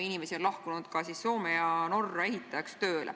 Inimesi on läinud ka Soome ja Norra ehitajaks.